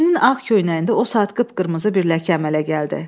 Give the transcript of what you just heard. Kişinin ağ köynəyində o saat qıpqırmızı bir ləkə əmələ gəldi.